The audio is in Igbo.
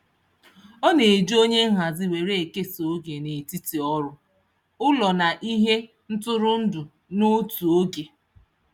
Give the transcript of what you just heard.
Ọ na-eji onye nhazi were ekesa oge n'etiti ọrụ, ụlọ na ihe ntụrụndụ n'otu oge.